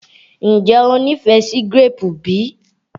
Ǹjẹ́ o nífẹ̀ẹ́ sí gíréèpù bí?